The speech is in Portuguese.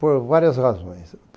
Por várias razões.